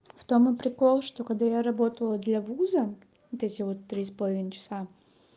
в том и прикол что когда я работала для вуза эти вот три с половиной часа